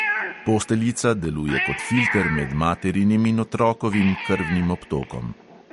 Posteljica deluje kot filter med materinim in otrokovim krvnim obtokom.